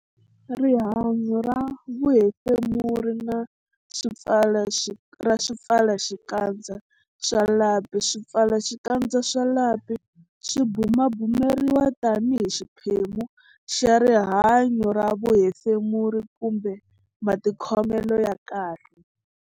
Rihanyo ra vuhefemuri ra swipfalaxikandza swa lapi Swipfalaxikandza swa lapi swi bumabumeriwa tanihi xiphemu xa rihanyo ra vuhefemuri kumbe matikhomelo ya kahle.